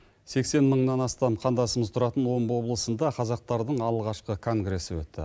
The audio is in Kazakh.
сексен мыңнан астам қандасымыз тұратын омбы облысында қазақтардың алғашқы конгрессі өтті